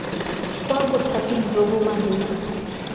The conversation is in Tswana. kwa bothating jo bo maleba